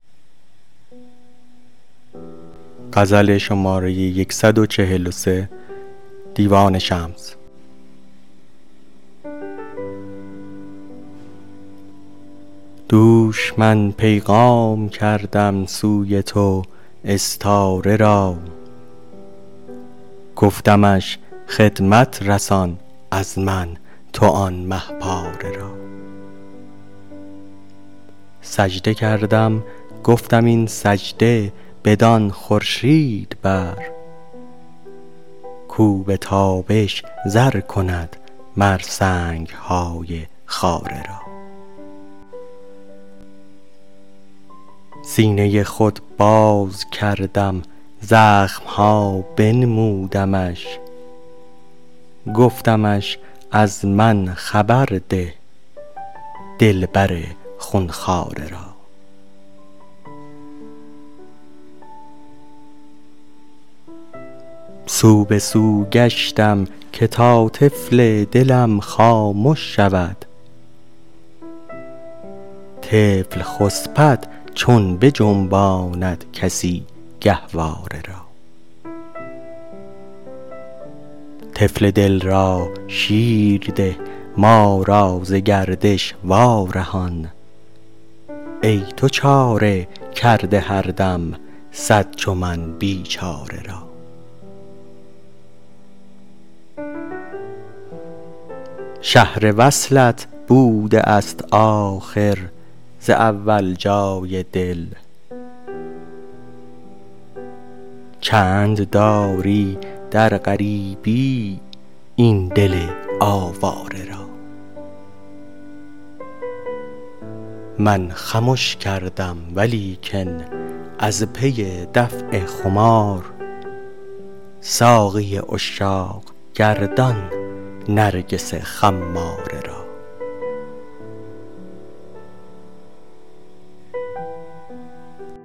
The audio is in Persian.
دوش من پیغام کردم سوی تو استاره را گفتمش خدمت رسان از من تو آن مه پاره را سجده کردم گفتم این سجده بدان خورشید بر کاو به تابش زر کند مر سنگ های خاره را سینه ی خود باز کردم زخم ها بنمودمش گفتمش از من خبر ده دلبر خون خواره را سو به سو گشتم که تا طفل دلم خامش شود طفل خسپد چون بجنباند کسی گهواره را طفل دل را شیر ده ما را ز گردش وارهان ای تو چاره کرده هر دم صد چو من بیچاره را شهر وصلت بوده است آخر ز اول جای دل چند داری در غریبی این دل آواره را من خمش کردم ولیکن از پی دفع خمار ساقی عشاق گردان نرگس خماره را